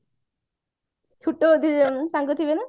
ସେତେବେଳେ ଦି ଜଣ ସାଙ୍ଗ ଥିବେ ନା